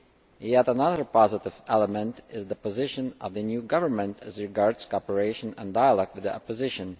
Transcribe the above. Yet another positive element is the position of the new government as regards cooperation and dialogue with the opposition.